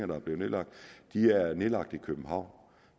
der er nedlagt nedlagt i københavn